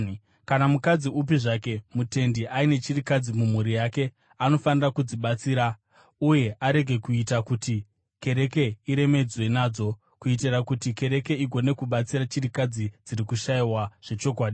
Kana mukadzi upi zvake mutendi aine chirikadzi mumhuri yake, anofanira kudzibatsira uye arege kuita kuti kereke iremedzwe nadzo, kuitira kuti kereke igone kubatsira chirikadzi dziri kushayiwa zvechokwadi.